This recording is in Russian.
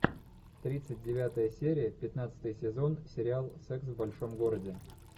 тридцать девятая серия пятнадцатый сезон сериал секс в большом городе